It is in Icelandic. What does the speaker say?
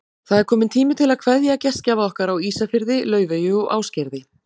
Það er kominn tími til að kveðja gestgjafa okkar á Ísafirði, Laufeyju og Ásgerði.